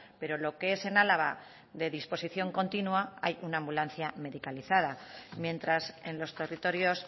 pero lo que es en álava de disposición continua hay una ambulancia medicalizada mientras en los territorios